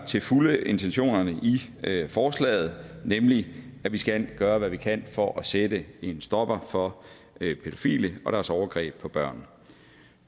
til fulde deler intentionerne i forslaget nemlig at vi skal gøre hvad vi kan for at sætte en stopper for pædofile og deres overgreb på børn